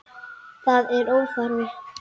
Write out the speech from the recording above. Það er óþarfi.